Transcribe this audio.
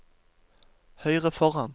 høyre foran